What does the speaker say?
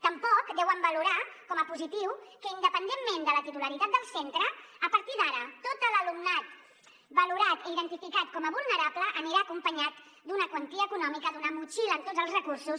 tampoc deuen valorar com a positiu que independentment de la titularitat del centre a partir d’ara tot l’alumnat valorat i identificat com a vulnerable anirà acom·panyat d’una quantia econòmica d’una motxilla amb tots els recursos